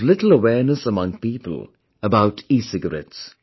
There is little awareness among people about ecigarette